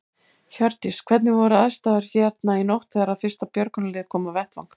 Hjördís: Hvernig voru aðstæður hérna í nótt þegar að fyrsta björgunarlið kom á vettvang?